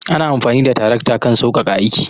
Amfani da tarakta kan sauƙaƙa aiki.